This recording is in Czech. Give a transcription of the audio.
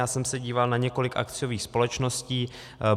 Já jsem se díval na několik akciových společností.